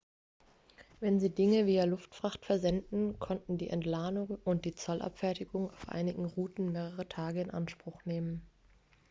wenn sie dinge via luftfracht versendeten konnten die entladung und die zollabfertigung auf einigen routen mehrere tage in anspruch nehmen